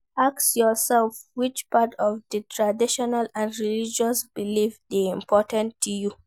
Ask yourself which part of di traditional and religious belief de important to you